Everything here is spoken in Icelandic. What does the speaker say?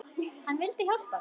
Hann vildi hjálpa mér.